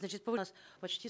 значит почти